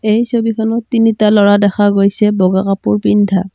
এই ছবিখনত তিনিটা ল'ৰা দেখা গৈছে বগা কাপোৰ পিন্ধা।